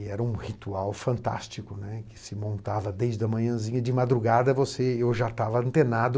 E era um ritual fantástico, né, que se montava desde a manhãzinha, de madrugada eu já estava antenado,